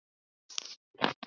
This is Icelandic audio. Sófus ræskti sig.